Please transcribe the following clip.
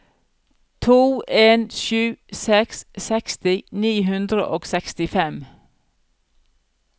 to en sju seks seksti ni hundre og sekstifem